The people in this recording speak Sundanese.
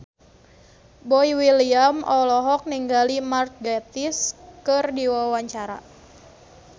Boy William olohok ningali Mark Gatiss keur diwawancara